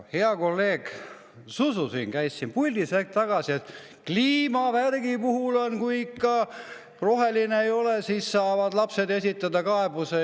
Hea kolleeg Zuzu käis siin hetk tagasi puldis ja ütles, et ka kliimavärgi puhul, kui ikka roheline ei ole, saavad lapsed esitada kaebuse.